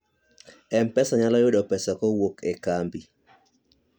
mpesa nyalo yudo pesa kowuok e kambi